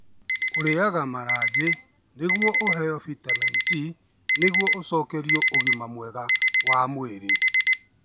Ũrĩaga maranjĩ nĩguo ũheo bitamini C nĩguo ũcokererie ũgima mwega wa mwĩrĩ.